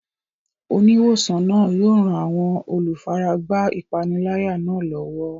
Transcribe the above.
Oníwòsàn náà yóò ran àwọn olùfaragbá ìpániláyà náà lọ́wọ́.